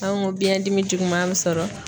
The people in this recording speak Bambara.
An go biɲɛndimi juguman be sɔrɔ